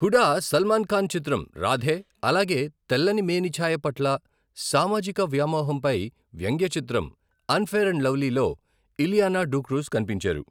హూడా సల్మాన్ ఖాన్ చిత్రం 'రాధే', అలగే తెల్లని మేనిఛాయ పట్ల సామాజిక వ్యామోహంపై వ్యంగ్య చిత్రం 'అన్ఫెయిర్ అండ్ లవ్లీ' లో ఇలియానా డిక్రూజ్కనిపించారు.